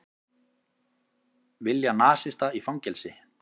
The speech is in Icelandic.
Vilja nasista í fangelsi